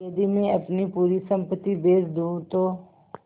यदि मैं अपनी पूरी सम्पति बेच दूँ तो